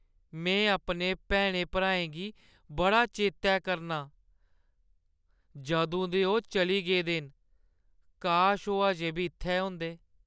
में अपने भैनें-भ्राएं गी बड़ा चेतै करना आं जदूं दे ओह् चली गेदे न। काश ओह् अजें बी इत्थै होंदे।